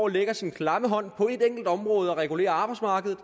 lægger sin klamme hånd på et enkelt område og regulerer arbejdsmarkedet